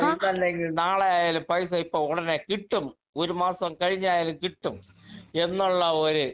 speaker 2 കാരണം ഇന്നല്ലെങ്കിൽ നാളെയായാലും പൈസ ഇപ്പൊ ഉടനെ കിട്ടും ഒരു മാസം കഴിഞ്ഞായാലും കിട്ടും എന്നുള്ള ഒരു